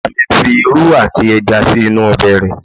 Ìyá mi ń fi irú àti ẹja sí inú ọbẹ̀ rẹ̀